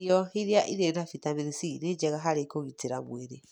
Irio iria irĩ na bitamini C nĩ njega harĩ kũgitĩra mwĩrĩ.